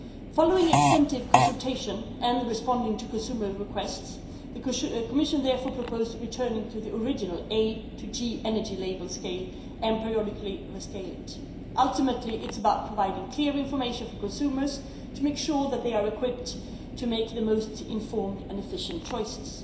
Following extensive consultation, and responding to consumer requests, the Commission therefore proposed returning to the original A to G energy label scale and periodically rescaling it. Ultimately, this is about providing clear information for consumers to ensure that they are equipped to make the most informed and efficient choices.